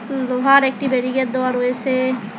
লোহার একটি ব্যারিকেট দেওয়া রয়েসে।